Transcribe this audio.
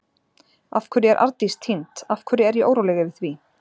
Af hverju er Arndís týnd, af hverju er ég óróleg yfir því?